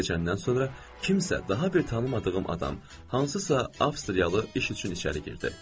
Bir az keçəndən sonra kimsə daha bir tanımadığım adam hansısa Avstriyalı iş üçün içəri girdi.